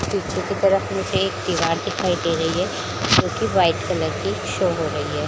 पीछे की तरफ मुझे एक दीवार दिखाई दे रही है जो की वाइट कलर की शो हो रही है।